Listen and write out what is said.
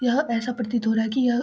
यह ऐसा प्रतीत हो रहा है कि यह --